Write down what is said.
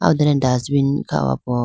aho done dustbin kha ho po.